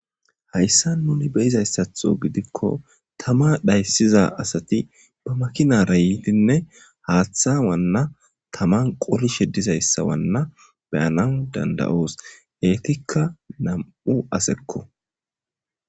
hayssa nuni beyizayssatho gidikko tama dhayssiza asati ba makinara yiitinne haaththa wanna taman qorishe dizayssa wanna beyanan danda7oos heetikka nam7u asekko